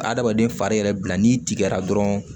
Adamaden fari yɛrɛ bila n'i tigɛra dɔrɔn